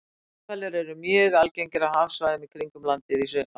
Grindhvalir eru mjög algengir á hafsvæðum í kringum landið á sumrin.